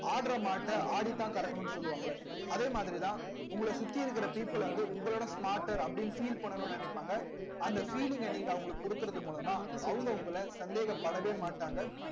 ஆடுற மாட்டை ஆடித்தான் கறக்கணும்னு சொல்லுவாங்களே அதே மாதிரிதான் உங்களை சுத்தி இருக்கிற people வந்து உங்களோட smarter அப்படின்னு feel பண்ணணும்னு நினைப்பாங்க அந்த feeling அ நீங்க அவங்களுக்கு கொடுக்கிறது மூலமா அவங்க உங்களை சந்தேகப்படவே மாட்டாங்க